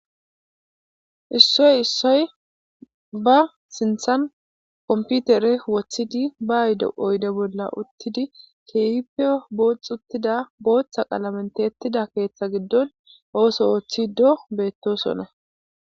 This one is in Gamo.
issoy issoy ba sinthan komputere woothidi ba ayde oyde bolla uttidi keehipio boox uttida booththa qalamenteettida keeththa giddon ooso wooththido beettosonne